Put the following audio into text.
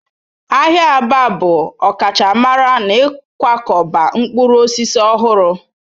Ahịa Aba bụ ọkachamara n'ịkwakọba mkpụrụ osisi ọhụrụ